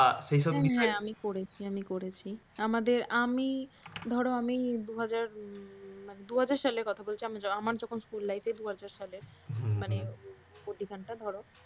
হ্যাঁ হ্যাঁ আমি করেছি আমি করেছি আমাদের ধরো আমি দু হাজার দু হাজার সালের কথা বলছি আমার যখন school life দু হাজার সালের মানে